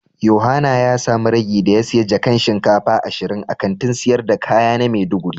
Yohana ya samu ragi da ya siya jakan shinkafa ashirin a Kantin sayar da kaya na maiduguri.